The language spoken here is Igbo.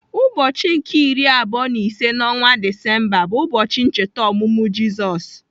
Ụbọchị nke iri abụọ na ise n'ọnwa Disemba bu ụbọchị ncheta ọmụmụ Jizọs.